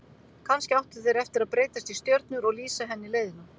Kannski áttu þeir eftir að breytast í stjörnur og lýsa henni leiðina.